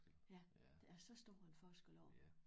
Ja der er så stor en forskel på det